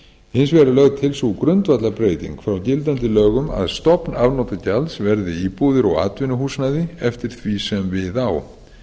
hins vegar er lögð til sú grundvallarbreyting frá gildandi lögum að stofn afnotagjalds verði íbúðir og atvinnuhúsnæði eftir því sem við á